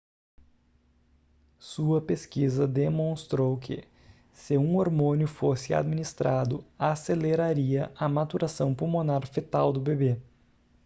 sua pesquisa demonstrou que se um hormônio fosse administrado aceleraria a maturação pulmonar fetal do bebê